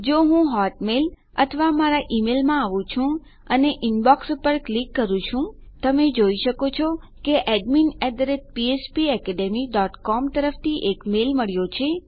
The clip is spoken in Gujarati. જો હું હોટમેલ અથવા મારા ઈમેલમાં આવું છું અને ઇનબોક્સ ઇનબોક્સ પર ક્લિક કરું છું તમે જોઈ શકો છો કે આપણને એડમિન ફ્પેકેડમી ડોટ સીઓએમ તરફથી એક મેલ મળ્યો છે